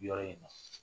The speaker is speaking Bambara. Yɔrɔ in na